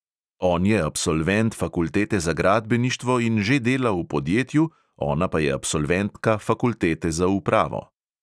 On je absolvent fakultete za gradbeništvo in že dela v podjetju, ona pa je absolventka fakultete za upravo.